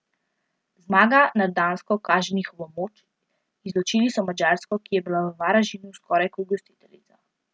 Zmaga nad Dansko kaže njihovo moč, izločili so Madžarsko, ki je bila v Varaždinu skoraj kot gostiteljica.